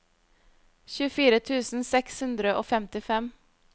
tjuefire tusen seks hundre og femtifem